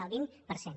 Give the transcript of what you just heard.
el vint per cent